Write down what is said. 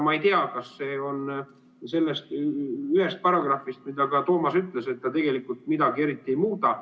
Ma ei tea, kas seal on ka see üks paragrahv, mille kohta Toomas ütles, et see tegelikult midagi eriti ei muuda.